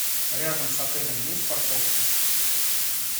рядом с отелем есть парковки